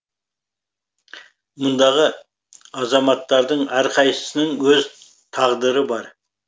мұндағы азаматтардың әрқайсысының өз тағдыры бар